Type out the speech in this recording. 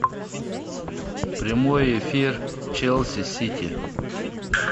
прямой эфир челси сити